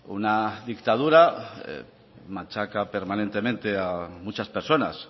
una dictadura machaca permanentemente a muchas personas